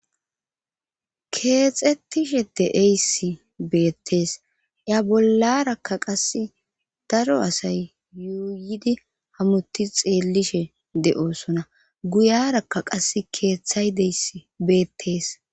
Keexxettishe de7eysi beettees ya bollarakka qassi daro asay yuuyidi hamuti xeellishe de7osona guyarakka qassi keeththay deysi beettees.